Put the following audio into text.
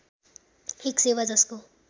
एक सेवा जसको